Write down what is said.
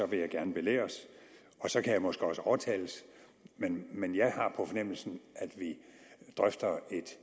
vil jeg gerne belæres og så kan jeg måske også overtales men jeg har på fornemmelsen at vi drøfter et